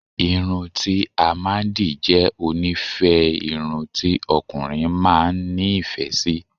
Irun ti a maa n di je onife orun ti okunrin maa n ni ife si